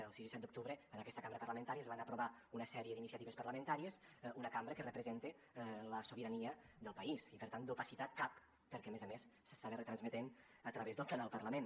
el sis i set de setembre en aquesta cambra parlamentària es van aprovar una sèrie d’iniciatives parlamentàries una cambra que representa la sobirania del país i per tant d’opacitat cap perquè a més a més s’estava retransmetent a través del canal parlament